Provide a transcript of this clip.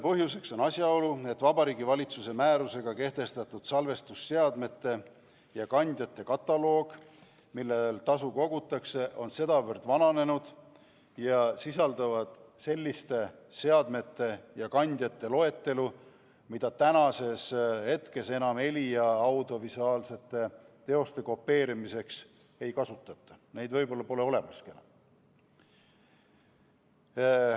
Põhjuseks on asjaolu, et Vabariigi Valitsuse määrusega kehtestatud loetelu salvestusseadmetest ja ‑kandjatest, millelt tasu kogutakse, on sedavõrd vananenud ning sisaldab selliseid seadmeid ja kandjaid, mida tänapäeval enam heli- ja audiovisuaalsete teoste kopeerimiseks ei kasutata, neid pole võib-olla enam olemaski.